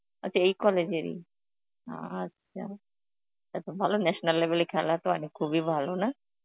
আচ্ছা এই college এরই আচ্ছা, তা তো ভালো national level এ খেলা তো অনেক খুবই ভালো না?